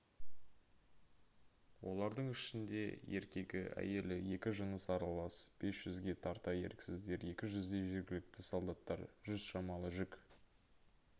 олардың ішінде еркегі әйелі екі жыныс аралас бес жүзге тарта еріксіздер екі жүздей жергілікті солдаттар жүз шамалы жүк